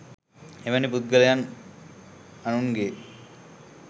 එවැනි පුද්ගලයන් අනුන්ගේ